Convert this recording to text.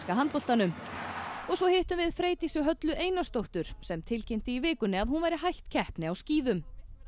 handboltanum og hittum Freydísi Höllu Einarsdóttur sem tilkynnti í vikunni að hún væri hætt keppni á skíðum